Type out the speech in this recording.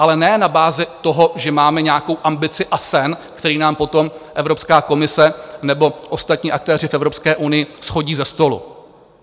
Ale ne na bázi toho, že máme nějakou ambici a sen, který nám potom Evropská komise nebo ostatní aktéři v Evropské unii shodí ze stolu.